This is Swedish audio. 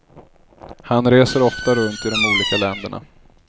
Han reser ofta runt i de olika länderna.